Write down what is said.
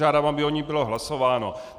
Žádám, aby o ní bylo hlasováno.